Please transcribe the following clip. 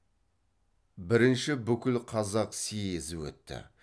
бірінші бүкілқазақ съезі өтті